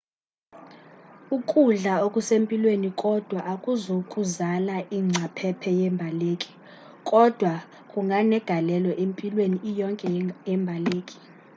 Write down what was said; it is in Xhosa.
ukudla okusempilweni kodwa akuzukuzala ingcaphephe yembaleki kodwa kunganegalelo empilweni iyonke yembaleki